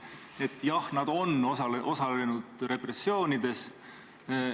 Nii et jah, nad on osalenud repressioonides.